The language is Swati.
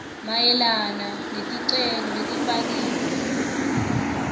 mayelana neticelo letifakiwe